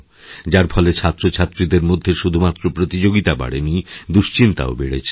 যার ফলে ছাত্রছাত্রীদের মধ্যে শুধুমাত্রপ্রতিযোগিতাই বাড়েনি দুশ্চিন্তাও বেড়েছে